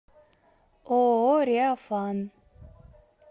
ооо реафан